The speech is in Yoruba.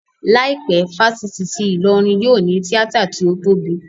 Láìpẹ́, ifásitì ti Ìlọrin yóò ní tíátà tí ó tóbi